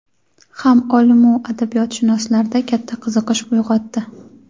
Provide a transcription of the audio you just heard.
ham olim-u adabiyotshunoslarda katta qiziqish uyg‘otdi.